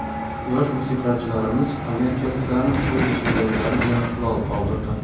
Yosh musiqachilarimiz amerikaliklarni o‘z iste’dodlari bilan lol qoldirdi.